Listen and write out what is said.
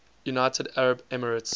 united arab emirates